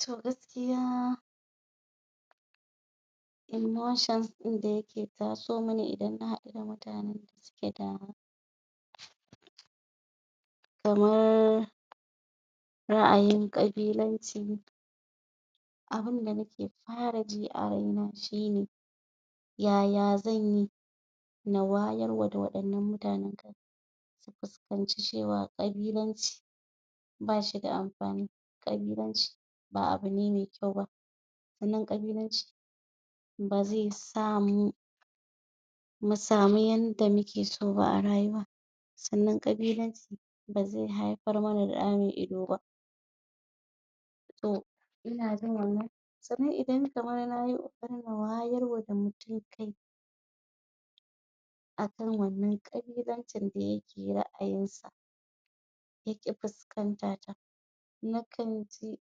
to gaskiya motions din da yake tasomin idan naɗu da da mutanan da suke da kamar ra'ayin ƙabilanci abunda nake faraji a raina shine yaya zanyi na wayarwa da waɗannan mutane su fuskanci cewa ƙabilanci bashida amfani ƙabilanci ba abune me kyau ba ganin ƙabilanci kasamu musamu yanda mukeso ba a rayuwa sannan ƙabilanci bazai haifar mana da ɗa me ido ba ko sannan idan kamar nayi wayarwa da mutum kai akan wannan ƙabilancin da yake ra'ayinsa yaki fuskantata nakanji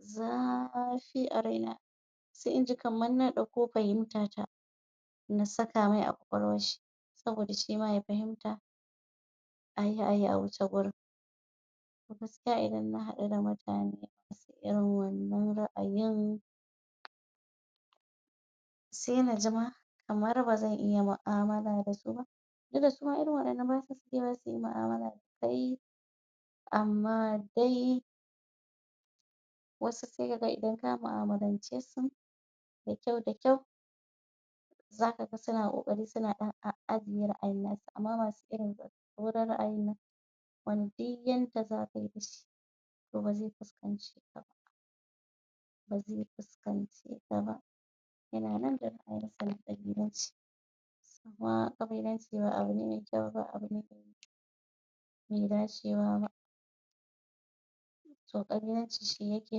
zafi a raina sai inji kamar na ɗauko fahimtata na saka mai a kwakwalwarshi saboda shima ya fahimta ayi ayi a wuce gurin gaskiya idan na hadu da mutane masu irin wannan ra'ayin sai naji ma kamar bazan iya mu'a mala dasu ba duk da suma irin wannan basa sakewa suyi mu'amala da kai amma dai wasu sai kaga idan ka ma'amalance su da kyau da kyau zakaga suna ƙoƙari suna ɗan adana wa'innan amma masu ra'ayin nan wani duk yanda zaka masa bazai fuskanci ba zai fuskance ka ba yana nan a ra'ayinshi naƙabilance kuma ƙabilance ba abune me kyau ba be dace ba to ƙabilance shi yake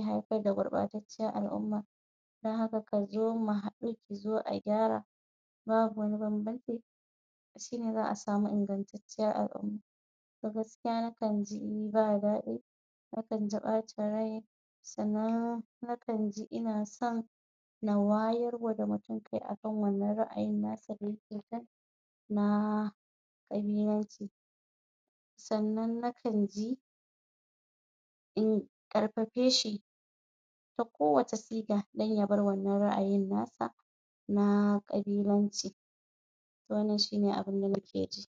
haifar da gurɓa tatciyar al'uma dan haka kazo mu haɗu kuzo a gyara babu wani banbanto ci shine xa'a samu ingantatciyar al'uma gaskiya na kanji ba daɗi na kanji bacin rai sannan na kanji inasan na wayarwa da mutane kai aan wannan ra'ayin nasu saboda haka na ɗanyi naci sannan na kanji in ƙarfafeshi ta kowacce siga dan yabar wannan ra'ayin nasa na ƙabilanci wannan shine abun da naje ji